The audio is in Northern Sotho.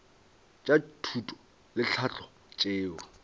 tša thuto le tlhahlo tšeo